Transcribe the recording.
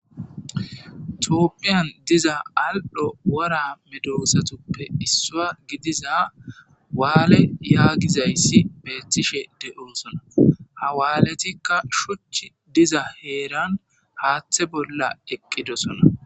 Toopphiyan diza aldho wora medosatuppe issua gidiza waale yaagizayssi beethtishe de7osona hawaaletikka shuch diza heeran haaththe bolla eqqidosona